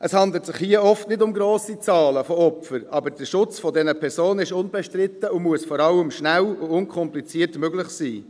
Es handelt sich hier oft nicht um grosse Zahlen von Opfern, aber der Schutz solcher Personen ist unbestritten und muss vor allem schnell und unkompliziert möglich sein.